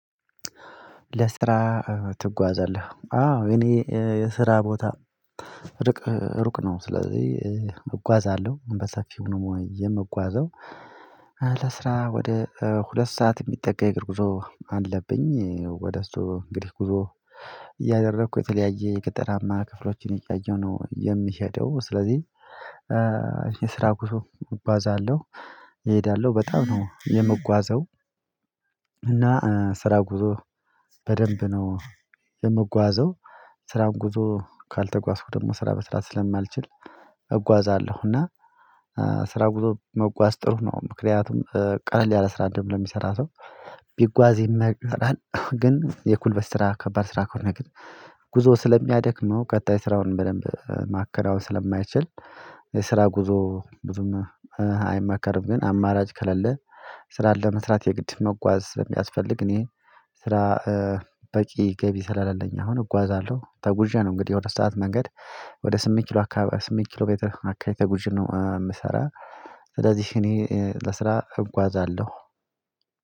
ለስራ ትጓዛለህ አዎ እኔ የስራ ቦታ ርቅ ሩቅ ነው። ስለዚህ እጓዛለሁ በሰፊው ነው የምጓዘው። ለስራ ወደ ሁለት ሰዓት የሚጠጋ የእግር ጉዞ አለብኝ ወደ እሱ እንግዲህ ጉዞ እያደረኩ የተለያየ የገጠራማ ክፍሎችን እያየሁ ነው የምሄደው ስለዚህ የስራ ጉዞ እጓዛለሁ። እሄዳለሁ በጣም ነው የምጓዘው እና ስራ ጉዞ በደንብ ነው የምጓዘው። ስራውን ጉዞ ካልተጓዝኩ ደግሞ ስራ መስራት ስለማልችል እጓዛለሁ እና ስራ ጉዞ መጓዝ ጥሩ ነው። ምክንያቱም ቀለል ያለ ስራ ደግሞ ለሚሰራ ሰው ቢጓዝ ይመከራል። ግን የጉልበት ስራ ከባድ ስራ ከሆነ ግን ጉዞ ስለሚያደክመው ቀጣይ ስራውን በደንብ ማከናወን ስለማይችል የስራ ጉዞ ብዙም አይመከርም። ግን አማራጭ ከሌለ ስራ ለመስራት የግድ መጓዝ የሚያስፈልግ። እኔ ስራ በቂ ገቢ ስለሌለኝ አሁን እጓዛለሁ ተጉዤ ነው። እንግዲህ የሁለት ሰዓት መንገድ ወደ ስምንት ኪሎ አካባቢ ስምንት ኪሎ ሜትር አካባቢ ተጉዤ ነው ምሰራ። ስለዚህ እኔ ለስራ እጓዛለሁ።